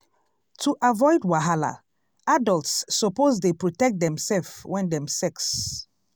to avoid wahala adults suppose dey protect demself when dem sex